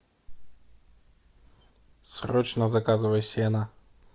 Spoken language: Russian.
срочно заказывай сено